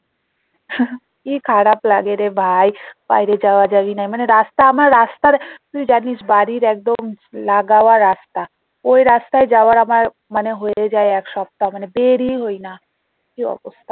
কি খারাপ লাগে রে ভাই বাইরে যাওয়া যাওয়াই নেই মানে রাস্তা আমার রাস্তার তুই জানিস বাড়ির একদম লাগায়া রাস্তা ওই রাস্তায় যাওয়ার আমার মানে হয়ে যায় এক সপ্তহা মানে বের ই হইনা কি অবস্থা